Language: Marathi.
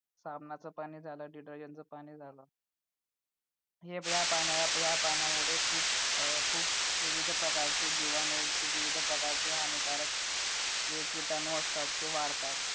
साबणाचे पाणी झालं detergent च पाणी झालं हे या पाण्यामुळे खूप खूप विविध प्रकारचे जिवाणू खूप विविध प्रकारचे हानिकारक जे किटाणू असतात ते वाढतात